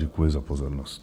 Děkuji za pozornost.